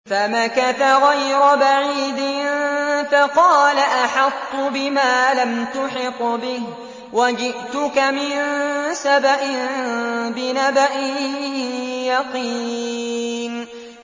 فَمَكَثَ غَيْرَ بَعِيدٍ فَقَالَ أَحَطتُ بِمَا لَمْ تُحِطْ بِهِ وَجِئْتُكَ مِن سَبَإٍ بِنَبَإٍ يَقِينٍ